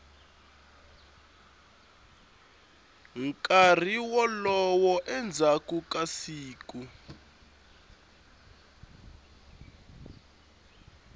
nkarhi wolowo endzhaku ka siku